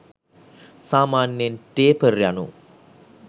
සාමාන්‍යයෙන් ටේපර් යනු